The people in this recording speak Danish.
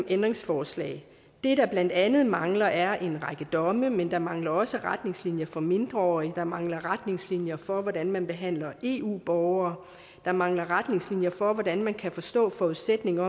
ændringsforslag det der blandt andet mangler er en række domme men der mangler også retningslinjer for mindreårige der mangler retningslinjer for hvordan man behandler eu borgere der mangler retningslinjer for hvordan man kan forstå forudsætningen